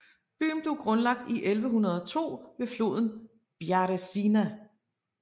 Byen blev grundlagt i 1102 ved floden Bjarézina